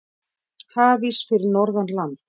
Hafís fyrir norðan land